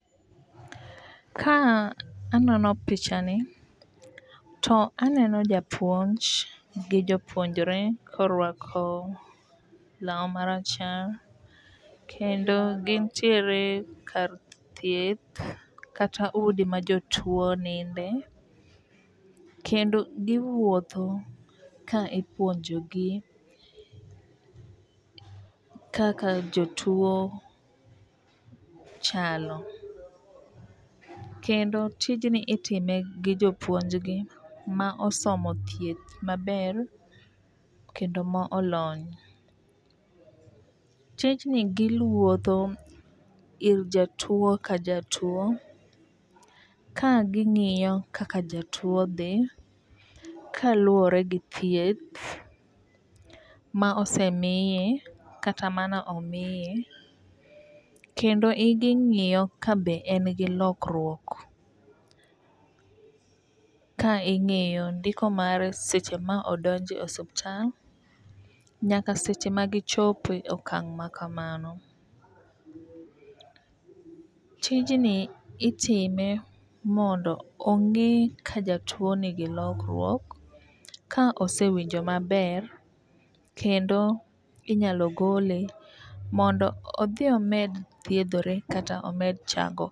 Ka anono picha ni to aneno japuonj gi jopuonjre korwako law marachar kendo gintiere kar thieth kata udi ma jotuo ninde kendo giwuotho ka ipuonjo gi kaka jotuo chalo. Kendo tijni itime gi jopuonjgi ma osomo thieth maber kendo ma olony . Tijni giwuotho ir jatuo ka jatuo ka ging'iyo kaka jatuo dhi kaluwore gi thieth ma osemiye kata mane omiye kendo ging'iyo ka be en gi lokruok. Ka ing'iyo ndiko mare seche ma odonje osiptal nyaka seche ma gichope okang' ma kamano. Tijni itime mondo ong'e ka jatuo nigi lokruok ka osewinjo maber kendo inyalo gole mondo odhi omed thiedhore kata omed chango